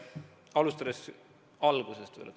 Alustan algusest.